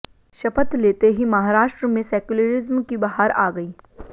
शपथ लेते ही महाराष्ट्र में सेक्युलरिज्म की बहार आ गई